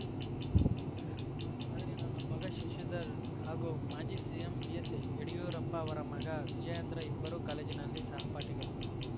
ಆದರೆ ನನ್ನ ಮಗ ಶಶಿಧರ್ ಹಾಗೂ ಮಾಜಿ ಸಿಎಂ ಬಿಎಸ್‌ಯಡಿಯೂರಪ್ಪ ಅವರ ಮಗ ವಿಜಯೇಂದ್ರ ಇಬ್ಬರು ಕಾಲೇಜಿನಲ್ಲಿ ಸಹಪಾಠಿಗಳು